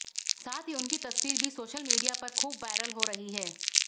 साथ ही उनकी तस्वीर भी सोशल मीडिया पर खूब वायरल हो रही है